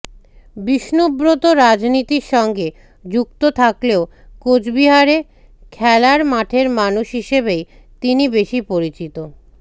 বিষ্ণুব্রত রাজনীতির সঙ্গে যুক্ত থাকলেও কোচবিহারে খেলার মাঠের মানুষ হিসেবেই তিনি বেশি পরিচিত